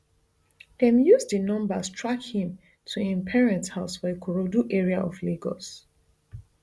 dem use di numbers track him to im parents house for ikorodu area of lagos